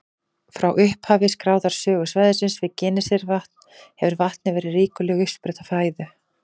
Frá upphafi skráðrar sögu svæðisins við Genesaretvatn hefur vatnið verið ríkuleg uppspretta fæðu.